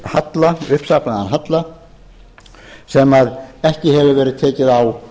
halla uppsafnaðan halla sem ekki hefur verið tekið á